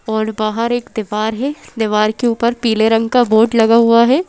और बाहर एक दीवार है दीवार के ऊपर पीले रंग का बोर्ड लगा हुआ है।